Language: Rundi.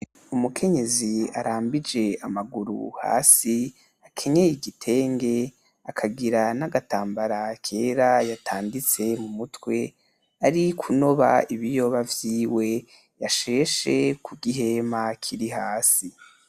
Umukenyezi arambije amaguru hasi ,akenyeye igitenge ,akagira nagatambara kera yatanditse mu mutwe ari kunoba ibiyoba vyiwe yasheshe kugihema hasi.